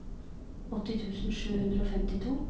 åtti tusen sju hundre og femtito